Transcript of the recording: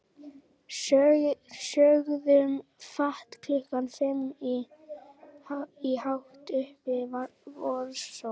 Sögðum fátt klukkan fimm í hátt uppi vorsól.